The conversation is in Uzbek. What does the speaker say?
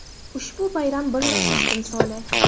Ushbu bayram birlashish timsoli.